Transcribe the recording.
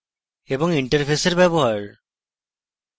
interfaces ব্যবহার